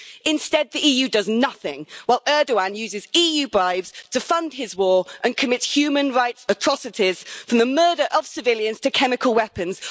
Instead, the EU does nothing, while Erdoğan uses EU bribes to fund his war and commit human rights atrocities, from the murder of civilians to chemical weapons.